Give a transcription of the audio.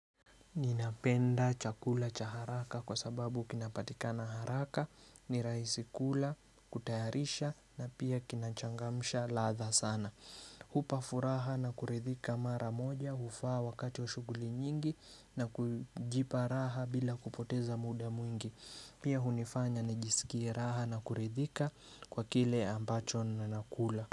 Ninapenda chakula cha haraka kwa sababu kinapatika na haraka, ni raihisikula, kutayarisha na pia kinachangamsha ladha sana. Hupa furaha na kurithika mara moja, hufaa wakati wa shughuli nyingi na kujipa raha bila kupoteza muda mwingi. Pia hunifanya nijisikie raha na kurithika kwa kile ambacho na nakula.